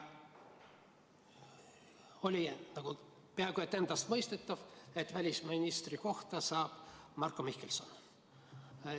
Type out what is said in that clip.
Oli peaaegu endastmõistetav, et välisministri koha saab Marko Mihkelson.